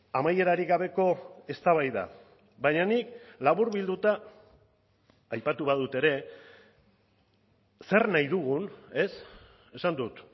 amaierarik gabeko eztabaida baina nik laburbilduta aipatu badut ere zer nahi dugun ez esan dut